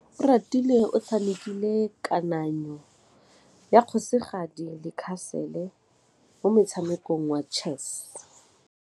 Oratile o tshamekile kananyô ya kgosigadi le khasêlê mo motshamekong wa chess.